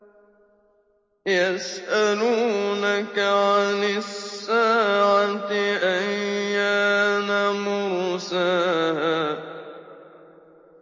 يَسْأَلُونَكَ عَنِ السَّاعَةِ أَيَّانَ مُرْسَاهَا